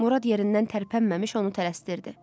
Murad yerindən tərpənməmiş onu tələstirdi.